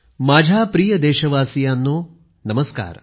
माझ्या प्रिय देशवासीयांनो नमस्कार